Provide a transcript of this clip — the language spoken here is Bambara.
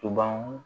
To ban